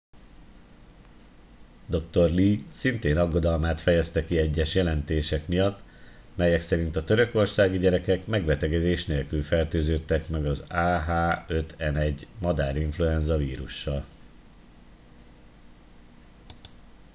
dr. lee szintén aggodalmát fejezte ki egyes jelentések miatt melyek szerint a törökországi gyerekek megbetegedés nélkül fertőződtek meg az ah 5 n 1 madárinfluenza vírussal